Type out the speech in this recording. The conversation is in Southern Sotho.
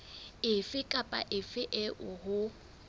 efe kapa efe eo ho